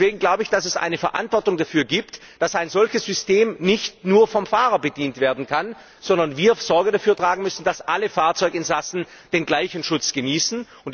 Deswegen glaube ich, dass es eine Verantwortung dafür gibt, dass ein solches System nicht nur vom Fahrer bedient werden kann, sondern wir dafür Sorge tragen müssen, dass alle Fahrzeuginsassen den gleichen Schutz genießen.